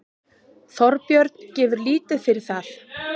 Þorbjörn gefur lítið fyrir það.